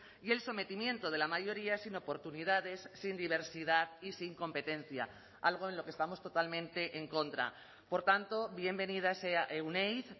y el sometimiento de la mayoría sin oportunidades sin diversidad y sin competencia algo en lo que estamos totalmente en contra por tanto bienvenida sea euneiz